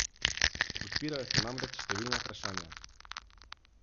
Odpirajo se namreč številna vprašanja.